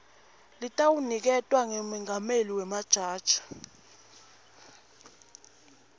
letawuniketwa ngumengameli wemajaji